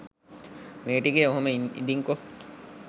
මේ ටිකේ ඔහොම ඉදින්කො